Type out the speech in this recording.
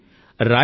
చూడండి